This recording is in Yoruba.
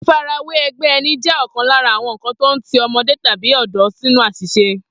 Fífarawé e̩gbé̩ e̩ni jé̩ ò̩kan lára àwo̩n nǹkan tó ń ti o̩mo̩dé tàbí ò̩dó̩ sínú às̩ìs̩e